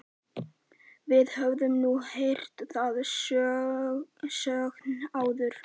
Við höfum nú heyrt þann söng áður.